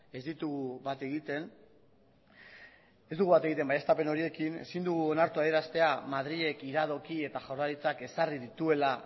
ez ditugu bat egiten ez dugu bat egiten adierazpen horiekin ezin dugu onartu adieraztea madrilek iradoki eta jaurlaritzak ezarri dituela